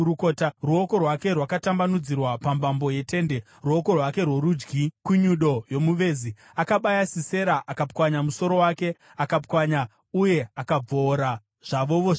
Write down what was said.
Ruoko rwake rwakatambanudzirwa pambambo yetende, ruoko rwake rworudyi kunyundo yomuvezi. Akabaya Sisera, akapwanya musoro wake, akapwanya uye akabvoora zvavovo zvake.